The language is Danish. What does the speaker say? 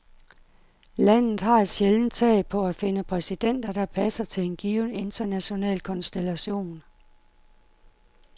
Landet har et sjældent tag på at finde præsidenter, der passer til en given international konstellation.